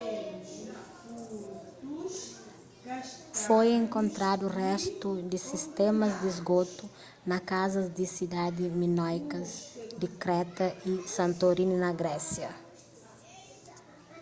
foi enkontradu réstu di sistémas di sgotu na kazas di sidadi minóikas di kreta y santorini na grésia